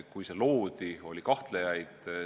Kui see loodi, oli kahtlejaid.